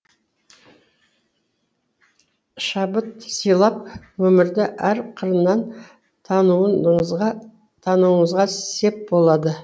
шабыт сыйлап өмірді әр қырынан тануыңызға сеп болады